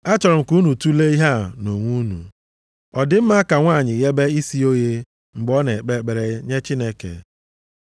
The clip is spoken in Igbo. Achọrọ m ka unu tule ihe a nʼonwe unu, ọ dị mma ka nwanyị ghebe isi ya oghe mgbe ọ na-ekpe ekpere nye Chineke?